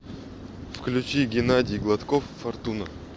включи геннадий гладков фортуна